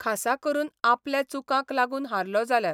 खासा करून आपल्या चुकांक लागून हारलो जाल्यार.